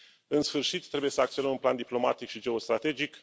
În sfârșit, trebuie să acționăm în plan diplomatic și geostrategic.